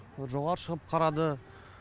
жоғары шығып қарады